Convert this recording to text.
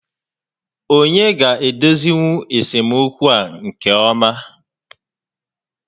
Onye ga-edozinwu esemokwu a nke ọma?